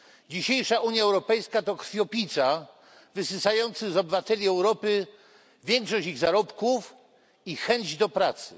Dzisiejsza Unia Europejska to krwiopijca wysysający z obywateli Europy większość ich zarobków i chęć do pracy.